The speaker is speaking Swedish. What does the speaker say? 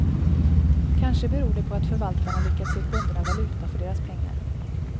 Kanske beror det på att förvatarna lyckats ge kunderna valuta för deras pengar.